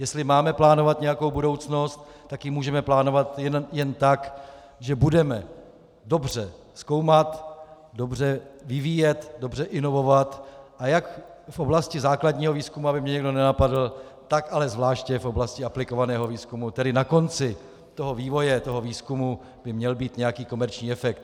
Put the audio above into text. Jestli máme plánovat nějakou budoucnost, tak ji můžeme plánovat jen tak, že budeme dobře zkoumat, dobře vyvíjet, dobře inovovat, a jak v oblasti základního výzkumu, aby mě někdo nenapadl, tak ale zvláště v oblasti aplikovaného výzkumu, tedy na konci toho vývoje, toho výzkumu, by měl být nějaký komerční efekt.